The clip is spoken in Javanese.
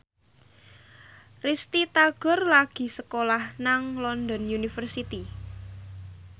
Risty Tagor lagi sekolah nang London University